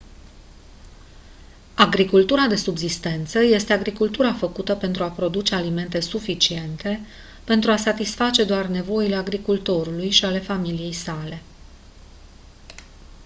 agricultura de subzistență este agricultura făcută pentru a produce alimente suficiente pentru a satisface doar nevoile agricultorului și ale familiei sale